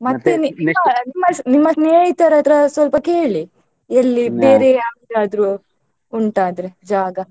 ನಿಮ್ಮ ಸ್ನೇಹಿತರ ಹತ್ರ ಸ್ವಲ್ಪ ಕೇಳಿ ಎಲ್ಲಿ ಯಾವರದ್ರೂ ಉಂಟಾ ಅಂದ್ರೆ ಜಾಗ.